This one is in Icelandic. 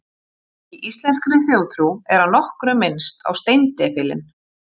Í íslenskri þjóðtrú er að nokkru minnst á steindepilinn.